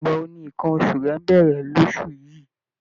Ìgbà wo ni nǹkan oṣù rẹ ń bẹ̀rẹ̀ lóṣù yìí?